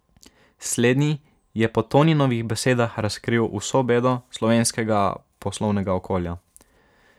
Slednji je po Toninovih besedah razkril vso bedo slovenskega poslovnega okolja.